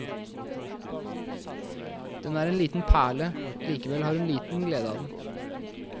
Den er en liten perle, likevel har hun liten glede av den.